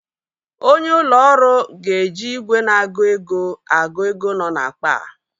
Onye ụlọ ọrụ ga-eji ìgwè na-agụ ego agụ ego nọ n'akpa a.